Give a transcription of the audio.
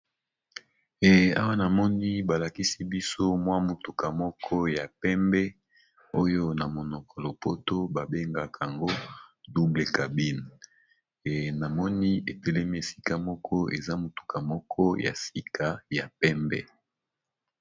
Eee awa namoni balakisibiso mwa mutuka moko ya pembe oyo namonoko yalopoto babengakayango double cabine ee namoni etelemi esikamoko eza mutuka moko yasika ya pembe